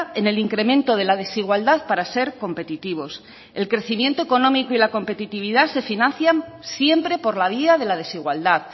en el incremento de la desigualdad para ser competitivos el crecimiento económico y la competitividad se financian siempre por la vía de la desigualdad